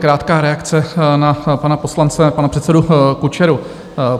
Krátká reakce na pana poslance, pana předsedu Kučeru.